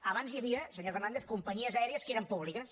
abans hi havia senyor fernàndez companyies aèries que eren públiques